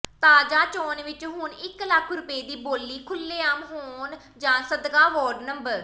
ਤਾਜ਼ਾ ਚੋਣ ਵਿੱਚ ਹੁਣ ਇੱਕ ਲੱਖ ਰੁਪਏ ਦੀ ਬੋਲੀ ਖੁੱਲ੍ਹੇਆਮ ਹੋ ਜਾਣ ਸਦਕਾ ਵਾਰਡ ਨੰ